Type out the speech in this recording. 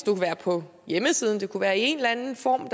kunne være på hjemmesiden det kunne være i en eller anden form